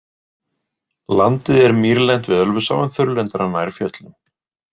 Landið er mýrlent við Ölfusá en þurrlendara nær fjöllum.